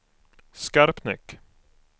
Skarpnäck